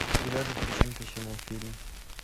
тринадцать причин почему фильм